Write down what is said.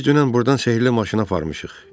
Biz dünən burdan sehrli maşını aparmışıq.